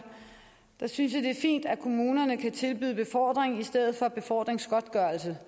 jeg synes det er fint at kommunerne kan tilbyde befordring i stedet for befordringsgodtgørelse